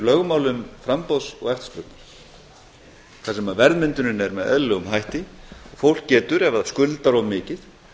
lögmálum framboðs og eftirspurnar þar sem verðmyndunin er með eðlilegum hætti og fólk getur ef það skuldar of mikið